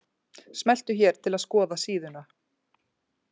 Smelltu hér til að skoða síðuna